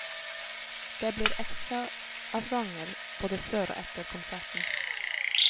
Det blir ekstraavganger både før og etter konserten.